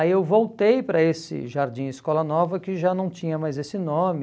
Aí eu voltei para esse Jardim Escola Nova, que já não tinha mais esse nome,